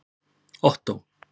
Ottó